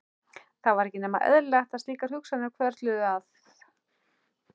Það var ekki nema eðlilegt að slíkar hugsanir hvörfluðu að